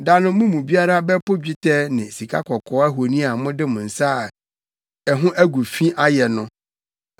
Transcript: Da no mo mu biara bɛpo dwetɛ ne sikakɔkɔɔ ahoni a mode mo nsa a ɛho agu fi ayɛ no.